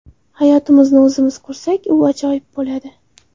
Hayotimizni o‘zimiz qursak, u ajoyib bo‘ladi.